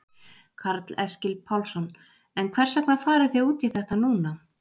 Karl Eskil Pálsson: En hvers vegna farið þið út í þetta núna?